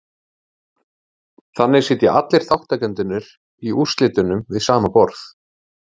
Þannig sitja allir þátttakendurnir í úrslitunum við sama borð.